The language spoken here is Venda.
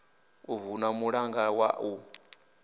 u vunḓa mulanga wa u